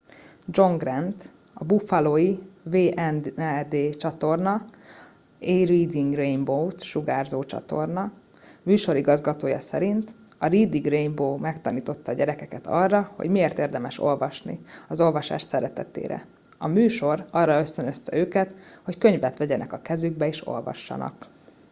john grant a buffalói wned csatorna areading rainbow-t sugárzó csatorna műsorigazgatója szerint ”a reading rainbow megtanította a gyerekeket arra hogy miért érdemes olvasni... az olvasás szeretetére — [a műsor] arra ösztönözte őket hogy könyvet vegyenek a kezükbe és olvassanak.